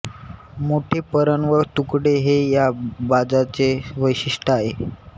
मोठे परण व तुकडे हे या बाजाचे वैशिष्ट्य आहे